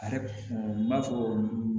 A yɛrɛ n b'a fɔ